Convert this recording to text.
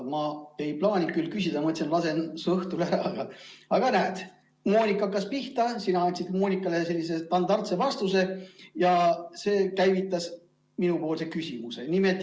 Ma ei plaaninud küsida, mõtlesin, et lasen su õhtule ära, aga näe, Moonika hakkas pihta, sina andsid Moonikale sellise standardse vastuse ja see käivitas minupoolse küsimuse.